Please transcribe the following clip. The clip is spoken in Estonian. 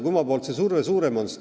Kummalt poolt on surve suurem?